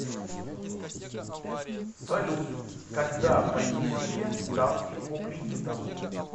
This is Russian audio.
салют когда понизите ставки по кредитам